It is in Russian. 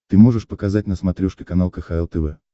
ты можешь показать на смотрешке канал кхл тв